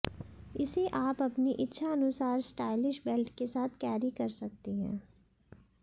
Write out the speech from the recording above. इसे आप अपनी इच्छानुसार स्टाइलिश बेल्ट के साथ कैरी कर सकती हैं